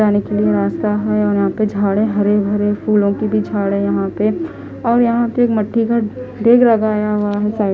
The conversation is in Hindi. जाने के लिए रास्ता है और यहां पे झाड़ हरे भरे फूलों की भी झाड़ है यहां पे और यहां पे एक मट्टी का डेग लगाया हुआ हैसाइड --